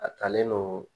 A talen don